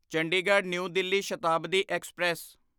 Chandigarh New Delhi Shatabdi express